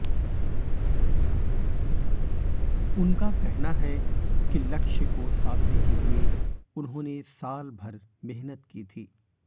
उनका कहना है कि लक्ष्य को साधने के लिए उन्होंने सालभर मेहनत की थी